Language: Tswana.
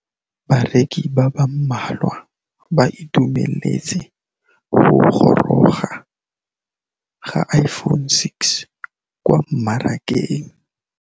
Bareki ba ba malwa ba ituemeletse go gôrôga ga Iphone6 kwa mmarakeng.